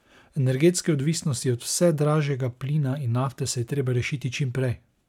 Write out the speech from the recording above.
Energetske odvisnosti od vse dražjega plina in nafte se je treba rešiti čim prej!